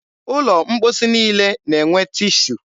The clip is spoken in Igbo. ụlọ mkposi niile na-enwe tishu.